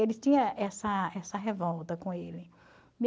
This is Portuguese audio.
Ele tinha essa essa revolta com ele.